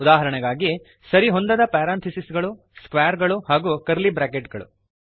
ಉದಾಹರಣೆಗಾಗಿ ಸರಿಹೊಂದದ ಪ್ಯಾರಾಂಥಿಸಿಸ್ ಗಳು ಸ್ಕ್ವಾರ್ ಗಳು ಹಾಗೂ ಕರ್ಲಿ ಬ್ರ್ಯಾಕೆಟ್ ಗಳು